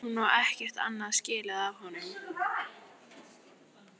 Hún á ekkert annað skilið af honum.